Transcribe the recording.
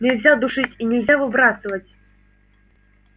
нельзя душить и нельзя выбрасывать